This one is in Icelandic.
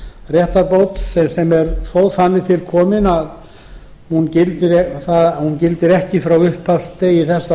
réttarbót sem þó er þannig að hún gildir ekki frá upphafsdegi þess að